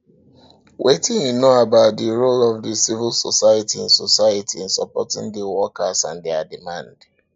wetin you know about di role of di civil society in society in supporting di workers and dia demands